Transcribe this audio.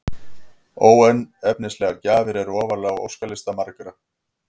Óefnislegar gjafir eru ofarlega á óskalista margra.